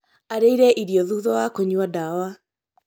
Arĩire irio thutha wa kũnyua ndawa